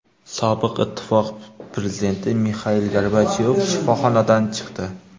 Sobiq Ittifoq prezidenti Mixail Gorbachyov shifoxonadan chiqdi.